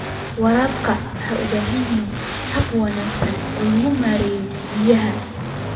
Waraabka waxa uu u baahan yahay hab wanaagsan oo lagu maareeyo biyaha.